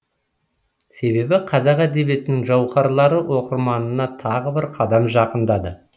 себебі қазақ әдебиетінің жауһарлары оқырманына тағы бір қадам жақындады